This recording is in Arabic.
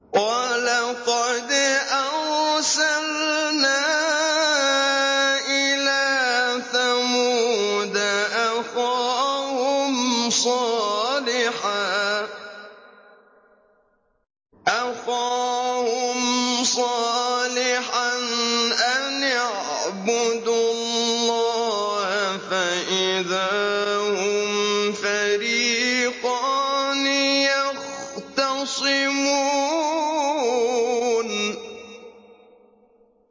وَلَقَدْ أَرْسَلْنَا إِلَىٰ ثَمُودَ أَخَاهُمْ صَالِحًا أَنِ اعْبُدُوا اللَّهَ فَإِذَا هُمْ فَرِيقَانِ يَخْتَصِمُونَ